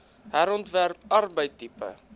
herontwerp apartheid tipe